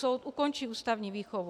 Soud ukončí ústavní výchovu.